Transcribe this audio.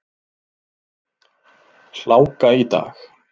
Hláka í dag.